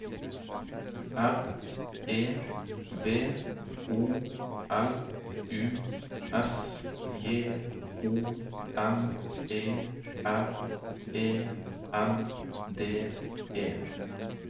R E V O L U S J O N E R E N D E